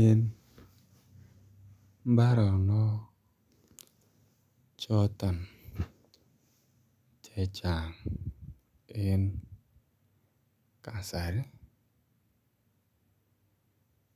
En mbaronok choton chechang en kasari